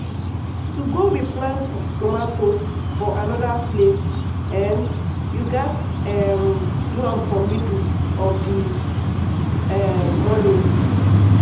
to go replant tomatoes for anoda place um you gats um do am for middle of di um morning.